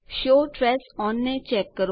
show trace on ને check કરો